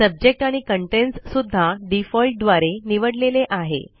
subject आणि contents सुद्धा default द्वारे निवडलेले आहे